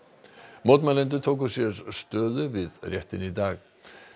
mótmælendur tóku sér stöðu við réttinn í dag